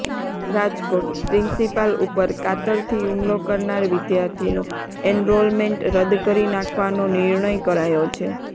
રાજકોટઃપ્રિન્સીપાલ ઉપર કાતરથી હુમલો કરનાર વિદ્યાર્થીનું એનરોલમેન્ટ રદ્દ કરી નાખવાનો નિર્ણય કરાયો છે